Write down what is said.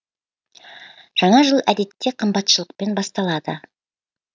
жаңа жыл әдетте қымбатшылықпен басталады